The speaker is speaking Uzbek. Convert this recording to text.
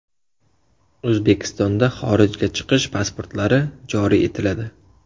O‘zbekistonda xorijga chiqish pasportlari joriy etiladi.